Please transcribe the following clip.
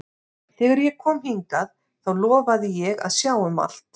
Þegar ég kom hingað þá lofaði ég að sjá um allt.